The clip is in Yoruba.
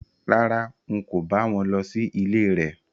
Rárá, n kò bá wọn lọ sí ilé rẹ̀